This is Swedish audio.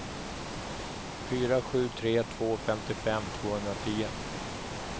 fyra sju tre två femtiofem tvåhundratio